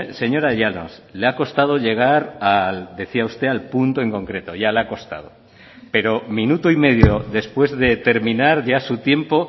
señora llanos le ha costado llegar decía usted al punto en concreto ya le ha costado pero minuto y medio después de terminar ya su tiempo